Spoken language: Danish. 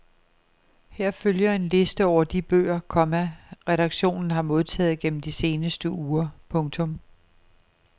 Her følger en liste over de bøger, komma redaktionen har modtaget gennem de seneste uger. punktum